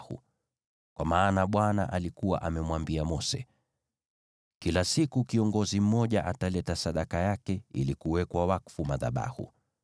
Kwa maana Bwana alikuwa amemwambia Mose, “Kila siku kiongozi mmoja ataleta sadaka yake ili kuwekwa wakfu madhabahu.”